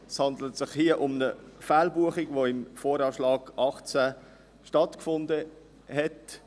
Es handelt sich hier um eine Fehlbuchung, die im Voranschlag (VA) 2018 stattgefunden hat.